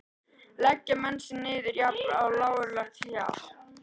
Leggja menn sig niður við jafn lágkúrulegt hjal?